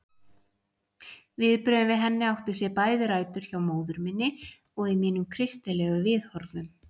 Viðbrögðin við henni áttu sér bæði rætur hjá móður minni og í mínum kristilegu viðhorfum.